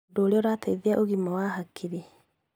Ũndũ ũrĩa ũrateithia ũgima wa hakiri.